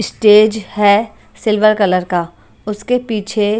stage है silver colour का उसके पीछे --